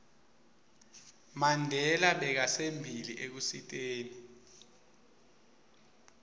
mandela bekasembili ekusiteni